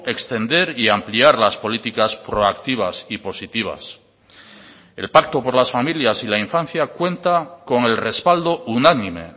extender y ampliar las políticas proactivas y positivas el pacto por las familias y la infancia cuenta con el respaldo unánime